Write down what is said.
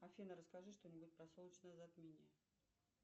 афина расскажи что нибудь про солнечное затмение